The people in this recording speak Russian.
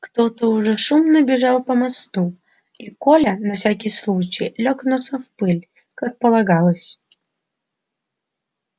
кто-то уже шумно бежал по мосту и коля на всякий случай лёг носом в пыль как полагалось